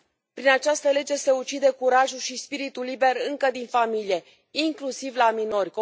Prin această lege se ucide curajul și spiritul liber încă din familie inclusiv la minori.